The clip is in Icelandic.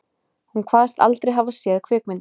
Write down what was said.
Hún kvaðst aldrei hafa séð kvikmyndina